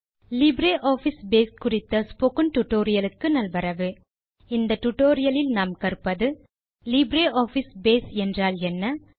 LibreOffice Base குறித்த spoken tutorial க்கு நல்வரவு இந்த டுடோரியலில் நாம் கற்பது லிப்ரியாஃபிஸ் பேஸ் என்றால் என்ன